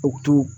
U to